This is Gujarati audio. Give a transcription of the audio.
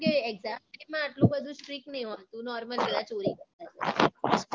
જે exam છે એમાં આટલું બધું strick નહિ હોતું normal